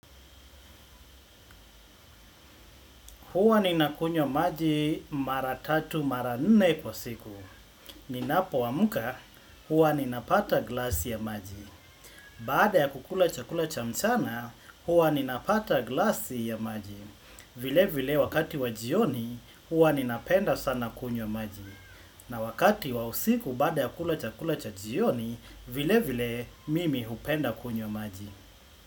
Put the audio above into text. Hua ninakunywa maji mara tatu mara nne kwa siku. Ninapoamka huwa ninapata glasi ya maji. Baada ya kukula chakula cha mchana, huwa ninapata glasi ya maji. Vile vile wakati wa jioni, hua ninapenda sana kunywa maji. Na wakati wa usiku baada ya kula chakula cha jioni, vile vile mimi hupenda kunywa maji.